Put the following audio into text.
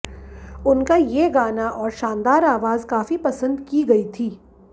उनका ये गाना और शानदार आवाज काफी पसंद की गई थी